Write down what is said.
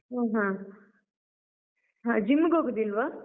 ಹೋ ಹಾ, ಹಾ gym ಗೆ ಹೋಗುದಿಲ್ವಾ?